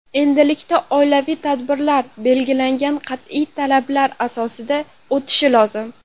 Endilikda oilaviy tadbirlar belgilangan qat’iy talablar asosida o‘tishi lozim.